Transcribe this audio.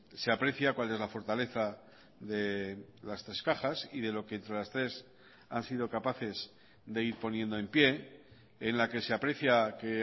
se aprecia cual es la fortaleza de las tres cajas y de lo que las tres han sido capaces de ir poniendo en pie en la que se aprecia que